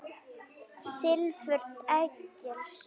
Silfur Egils